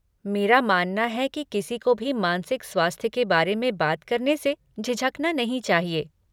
मेरा मानना है कि किसी को भी मानसिक स्वास्थ्य के बारे में बात करने से झिझकना नहीं चाहिए।